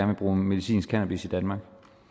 vil bruge medicinsk cannabis i danmark